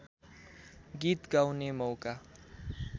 गीत गाउने मौका